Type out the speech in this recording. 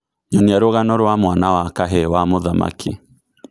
Nyonia rũgano rwa mwana wa kahĩĩ wa mũthamaki